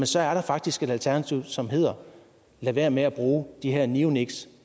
så er der faktisk et alternativ som hedder lad være med at bruge de her neoniks